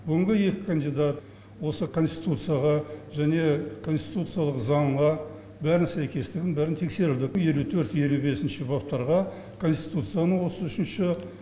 бүгінгі екі кандидат осы конституцияға және конституциялық заңға бәрін сәйкестігін бәрін тексердік елу төрт елу бесінші баптарға конституцияның отыз үшінші